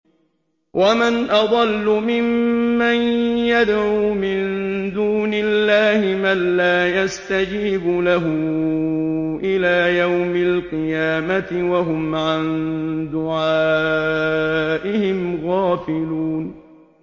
وَمَنْ أَضَلُّ مِمَّن يَدْعُو مِن دُونِ اللَّهِ مَن لَّا يَسْتَجِيبُ لَهُ إِلَىٰ يَوْمِ الْقِيَامَةِ وَهُمْ عَن دُعَائِهِمْ غَافِلُونَ